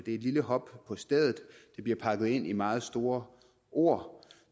et lille hop på stedet det bliver pakket ind i meget store ord